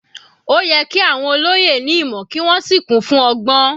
Ó yẹ kí àwọn olóyè ní ìmọ̀ kí wọ́n sì kún fún ọgbọ́n.